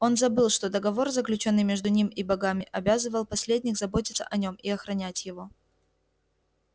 он забыл что договор заключённый между ним и богами обязывал последних заботиться о нем и охранять его